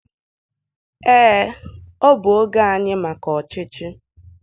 ee, ọ bụ oge anyị maka ọchịchị